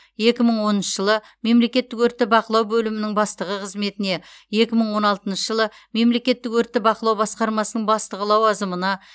екі мың оныншы жылы мемлекеттік өртті бақылау бөлімінің бастығы қызметіне екі мың он алтыншы жылы мемлекеттік өртті бақылау басқармасының бастығы лауазымына